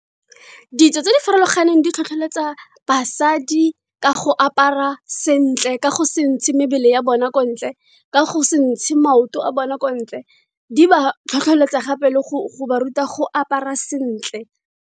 Ditso tse di farologaneng di tlhotlheletsa basadi ka go apara sentle. Ka go se ntshe mebele ya bona ko ntle, ka go se ntshe maoto a bone ko ntle. Di ba tlhotlheletsa gape le go ba ruta go apara sentle.